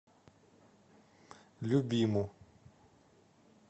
любиму